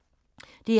DR1